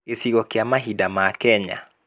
gĩcigo kĩa mahinda ma kenya